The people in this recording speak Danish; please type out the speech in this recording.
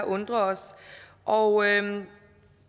undrer os og